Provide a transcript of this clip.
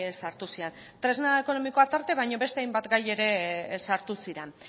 sartu ziren tresna ekonomikoa aparte baina beste hainbat gai ere sartu ziren